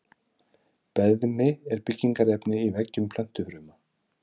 Beðmi er byggingarefni í veggjum plöntufruma.